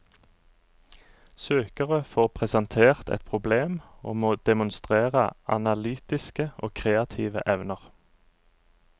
Søkere får presentert et problem og må demonstrere analytiske og kreative evner.